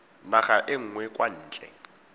naga e nngwe kwa ntle